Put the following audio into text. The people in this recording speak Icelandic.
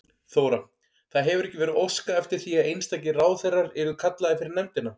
Þóra: Það hefur ekki verið óskað eftir því að einstakir ráðherrar yrðu kallaðir fyrir nefndina?